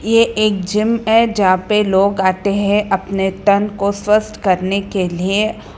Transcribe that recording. ये एक जिम है जहां पे लोग आते हैं अपने तन को स्वस्थ करने के लिए।